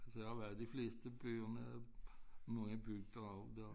Jeg har været i de fleste byer med mange bygder også der